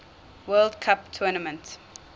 world cup tournament